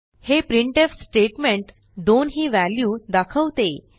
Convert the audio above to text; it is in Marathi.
हे प्रिंटफ स्टेटमेंट 2 ही व्हॅल्यू दाखवते